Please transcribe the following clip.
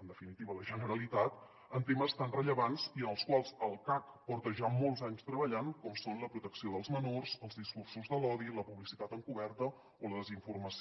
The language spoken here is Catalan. en definitiva la generalitat en temes tan rellevants i en els quals el cac porta ja molts anys treballant com són la protecció dels me·nors els discursos de l’odi la publicitat encoberta o la desinformació